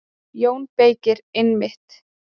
JÓN BEYKIR: Einmitt!